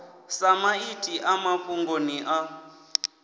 sa maiti a mafhungoni a